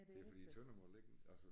Det fordi Tønder må ligge altså